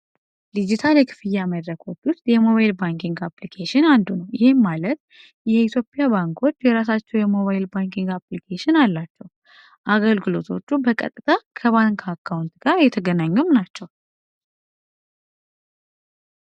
ዲጂታል የክፍያ መድረኮች ውስጥ የሞባይል ባንኪንግ አፕሊኬሽን አንዱ ነው። ይህም ማለት የኢትዮጵያ ባንኮች የራሳቸው የሞባይል ባንኪንግ አፕሊኬሽን አላቸው። አገልግሎቶቹ በቀጥታ ከባንክ አካውንት ጋር የተገናኙም ናቸው።